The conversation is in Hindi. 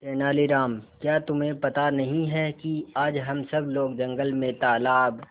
तेनालीराम क्या तुम्हें पता नहीं है कि आज हम सब लोग जंगल में तालाब